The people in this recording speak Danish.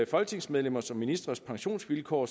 folketingsmedlemmers og ministres pensionsvilkår